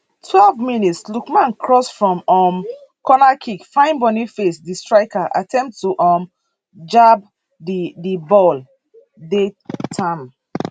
twelve mins lookman cross from um cornerkick find boniface di striker attempt to um jab di di ball dey tam